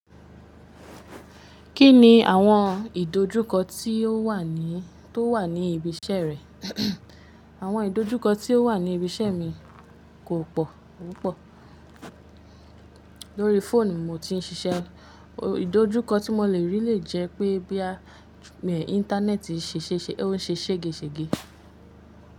Kí ni àwọn ìdojúkọ tí ó wà ní tó wà ní ibi iṣẹ́ rẹ? Àwọn ìdojúkọ tí ó wà ní ibi iṣẹ́ mi kò pọ̀, pupo. Lórí fóònù mo ti ń ṣiṣẹ́, ìdojúkọ tí mo le rí lè jẹ́ pé boyà internet ń ṣe ṣèṣe, ó ń ṣe ségesège.